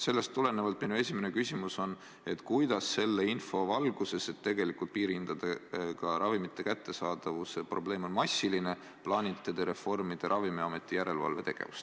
Sellest tulenevalt minu esimene küsimus on, kuidas selle info valguses, et tegelikult piirhinnaga ravimite kättesaadavuse probleem on massiline, plaanite te reformida Ravimiameti järelevalvetegevust.